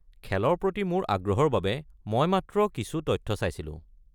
খেলৰ প্ৰতি মোৰ আগ্ৰহৰ বাবে মই মাত্ৰ কিছু তথ্য চাইছিলোঁ।